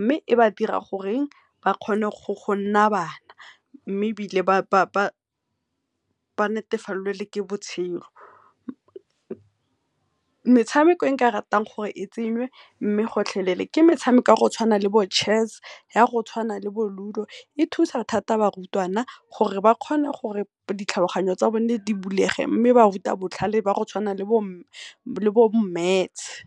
mme e ba dira gore ba kgone gore e nne bana mme ebile ba natefalelwe ke botshelo. Metshameko e nka ratang gore e tsenywe mme gotlhelele ke metshameko ya go tshwana le bo Chess, ya go tshwana le bo Ludo, e thusa thata barutwana gore ba kgone go ditlhologanyo tsa boe di bulege mme ba ruta botlhale ba tshwana le bo maths.